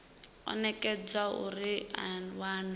o nekedzwaho uri a wane